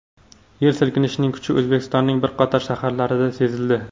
Yer silkinishining kuchi O‘zbekistonning bir qator shaharlarida sezildi.